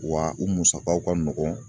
Wa u musakaw ka nɔgɔn